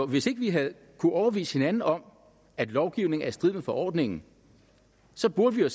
hvis ikke vi havde kunnet overbevise hinanden om at lovgivningen var i strid med forordningen så burde vi jo